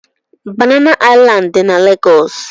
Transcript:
Banana Island dị na Lagos.